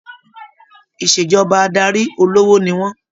Ìṣèjọba adarí olówó ni wọn.